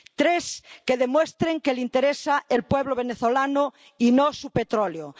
Tres, que demuestren que les interesa el pueblo venezolano y no su petróleo.